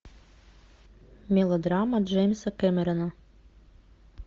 мелодрама джеймса кэмерона